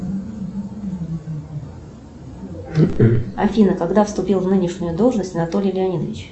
афина когда вступил в нынешнюю должность анатолий леонидович